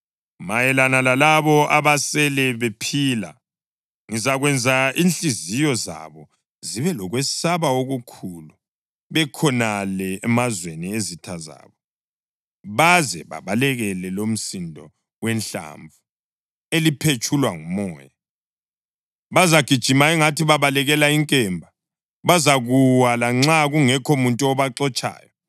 Mayelana lalabo abasele bephila, ngizakwenza inhliziyo zabo zibe lokwesaba okukhulu bekhonale emazweni ezitha zabo baze babalekele lomsindo wehlamvu liphetshulwa ngumoya. Bazagijima angathi babalekela inkemba; bazakuwa lanxa kungekho muntu obaxotshayo.